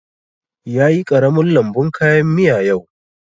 Ya yi ƙaramin lambun kayan miya yau